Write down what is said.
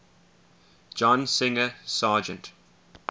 john singer sargent